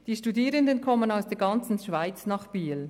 Die Studierenden kommen aus der ganzen Schweiz nach Biel.